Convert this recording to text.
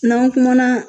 N'an kumana